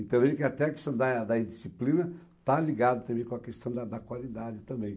Então, até a questão da da indisciplina está ligada também com a questão da da qualidade também.